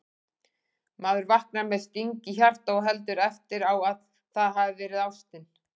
Maður vaknar með sting í hjarta og heldur eftir á að það hafi verið ástin